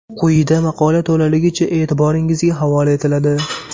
Quyida maqola to‘laligicha e’tiboringizga havola etiladi .